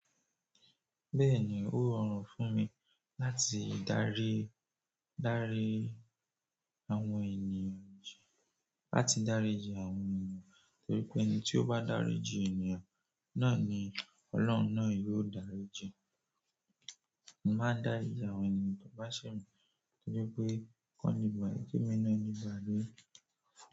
Bẹ́ẹ̀ni, ó rọrùn fún mi láti darí, darí àwọn ènìyàn ji, láti daríji àwọn ènìyàn torí pé ẹni tí ó bá daríji ènìyàn náà ni Ọlọ́run náà yóò darí ji. Mo máa dárí ji àwọn ènìyàn to bá ṣe mi torí pé kò le ba, ki emi náà le ba.